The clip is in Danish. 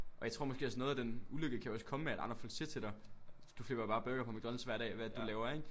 Og jeg tror måske noget af den ulykke kan også komme af at andre folk siger til dig du flipper bare burgere på McDonalds hver dag hvad er det du laver ikke